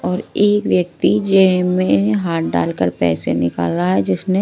और एक व्यक्ति जेब में हाथ डालकर पैसे निकल रहा है जिसमें--